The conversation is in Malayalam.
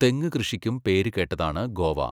തെങ്ങ് കൃഷിക്കും പേരുകേട്ടതാണ് ഗോവ.